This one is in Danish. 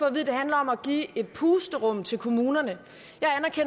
at det handler om at give et pusterum til kommunerne